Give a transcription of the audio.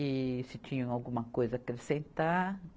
e se tinham alguma coisa a acrescentar.